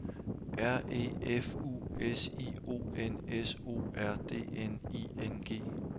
R E F U S I O N S O R D N I N G